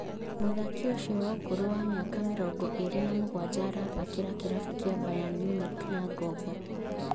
Mũthaki ũcio wa ũkũrũ wa mĩaka mĩrongo ĩrĩ na mũgwanja arathakĩra kĩrabu kĩa Bayern Munich na ngombo